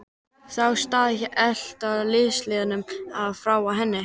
Þá stóð hann allt í einu ljóslifandi frammi fyrir henni.